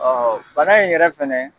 bana in yɛrɛ fɛnɛ